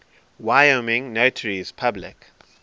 wyoming notaries public